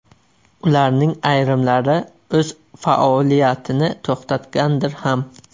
Ularning ayrimlari o‘z faoliyatini to‘xtatgandir ham.